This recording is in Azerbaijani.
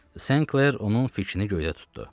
Senkler onun fikrini göydə tutdu.